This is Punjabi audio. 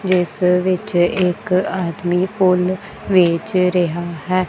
ਜਿੱਸ ਵਿੱਚ ਇੱਕ ਆਦਮੀ ਫੁੱਲ ਵੇਚ ਰਿਹਾ ਹੈ।